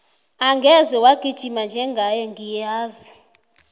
angeze wagijima njengaye ngiyala